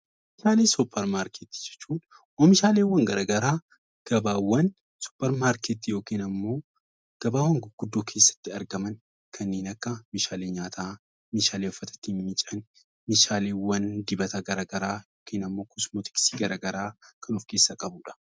Oomishaalee dupermarketii jechuun oomishaalee garaa garaa gabaa supermarketii yookiin immoo gabaawwan gurguddoo keessatti argaman kanneen akka meeshaalee nyaataa, meeshaalee uffata ittiin miican, meeshaaleewwan dibata garaa garaa yookiin immoo kosomootiksii garaa garaa kan of keessaa qabuudha.